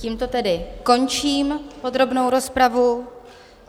Tímto tedy končím podrobnou rozpravu.